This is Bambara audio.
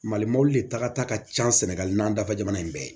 Mali mɔbili de taga ka ca sɛnɛgali n'an dafa jamana in bɛɛ ye